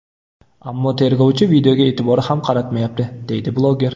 Ammo tergovchi videoga e’tibor ham qaratmayapti”, deydi bloger.